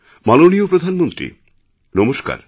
মাননীয় প্রধানমন্ত্রী নমস্কার